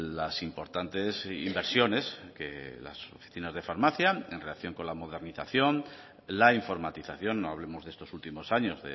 las importantes inversiones que las oficinas de farmacia en relación con la modernización la informatización no hablemos de estos últimos años